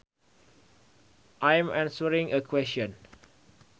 I am answering a question